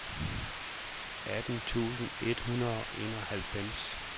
atten tusind et hundrede og enoghalvfems